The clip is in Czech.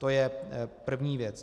To je první věc.